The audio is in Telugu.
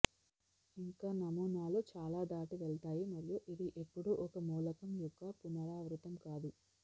ఇంకా నమూనాలు చాలా దాటి వెళ్తాయి మరియు ఇది ఎప్పుడూ ఒక మూలకం యొక్క పునరావృతం కాదు